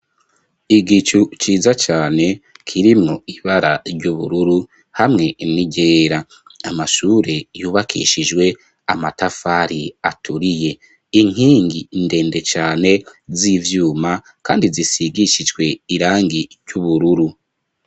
Igicu ciza cane kirimwo ibara ry'ubururu hamwe n'iryera. Amashure yubakishijwe amatafari aturiye. Inkingi ndende cane z'ivyuma kandi zisigishijwe irangi ry'ubururu.